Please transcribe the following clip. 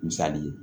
Misali ye